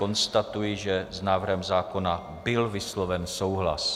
Konstatuji, že s návrhem zákona byl vysloven souhlas.